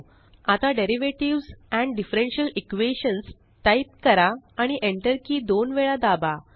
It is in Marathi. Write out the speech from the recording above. आता derivatives and differential Equations type करा आणि Enterकी दोन वेळा दाबा